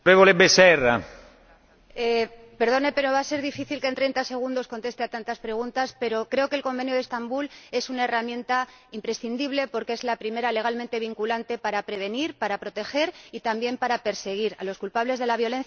Perdone, va a ser difícil que en treinta segundos conteste a tantas preguntas, pero creo que el Convenio de Estambul es una herramienta imprescindible, porque es la primera legalmente vinculante para prevenir, para proteger y también para perseguir a los culpables de la violencia intrafamiliar, que es algo que va más allá.